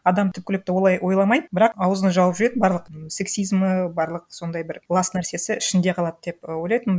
адам түпкілікті олай ойламайды бірақ аузын жауып жүреді барлық сексизмі барлық сондай бір лас нәрсесі ішінде қалады деп і ойлайтынмын